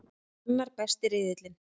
Annar besti riðillinn